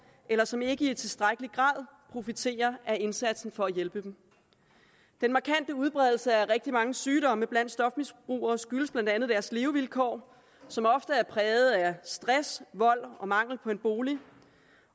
eller som ikke i tilstrækkelig grad profiterer af indsatsen for at hjælpe dem den markante udbredelse af rigtig mange sygdomme blandt stofmisbrugere skyldes blandt andet deres levevilkår som ofte er præget af stress vold og mangel på en bolig